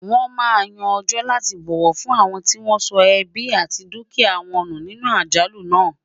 wón má Yàn ọjọ láti bọwọ fún awọn tí wọn sọ ẹbi àti dukia wọn nù nínú àjálù nà